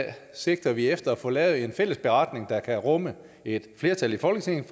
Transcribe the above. sigter vi efter at få lavet en fælles beretning der kan rumme et flertal i folketinget